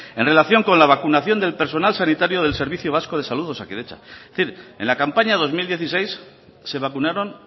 en relación con la vacunación del personal sanitario del servicio vasco de salud de osakidetza es decir en la campaña dos mil dieciséis se vacunaron